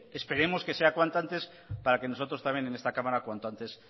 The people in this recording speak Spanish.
esperemos que sea cuanto antes para que nosotros también en esta cámara cuanto antes